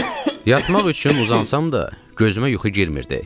Yatmaq üçün uzansam da, gözümə yuxu girmirdi.